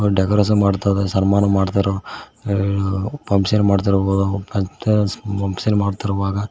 decoration ಮಾಡ್ತಾ ಇದಾರೆ ಸನ್ಮಾನ ಮಾಡ್ತಾರೆ ಎಲ್ಲಾ ಫಂಕ್ಷನ್ ಮಾಡ್ತಾ ಇರೊ ಫಂಕ್ಷನ್ ಮಾಡುತ್ತಿರುವಾಗ--